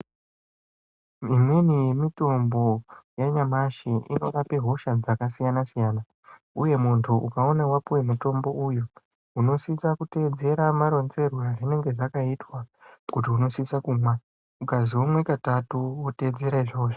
Imweni yemitombo yanyamashi inorape hosha dzakasiyana-siyana, Uye muntu ukaone wapiwa mutombo uyu unosisa kuteedzera maronzerwe azvinenge zvakaitwa, kuti unosisa kumwa. Ukazi umwe katatu woteedzera izvozvo.